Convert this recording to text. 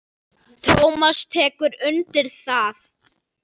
Tómas tekur undir það.